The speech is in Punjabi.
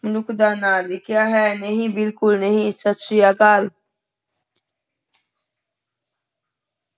ਮਨੁੱਖ ਦਾ ਨਾਂ ਲਿਖਿਆ ਹੈ ਨਹੀਂ ਬਿਲਕੁਲ ਨਹੀਂ, ਸਤਿ ਸ੍ਰੀ ਅਕਾਲ।